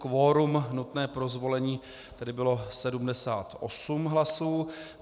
Kvorum nutné pro zvolení tedy bylo 78 hlasů.